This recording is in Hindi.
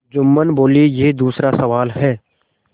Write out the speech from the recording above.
जुम्मन बोलेयह दूसरा सवाल है